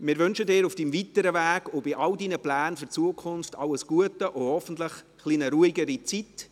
Wir wünschen Ihnen auf Ihrem weiteren Weg und bei all Ihren Plänen für die Zukunft alles Gute und hoffentlich eine etwas ruhigere Zeit.